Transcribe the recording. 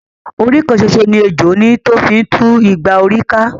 Orí kan ṣoṣo ni ejò ní tó fi ńtú igba orí ká